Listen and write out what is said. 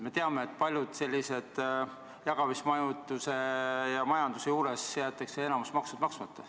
Me teame, et sellise jagamismajanduse puhul jäetakse enamik makse maksmata.